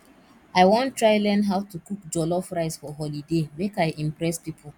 i wan try learn how to cook jollof rice for holiday make i impress pipo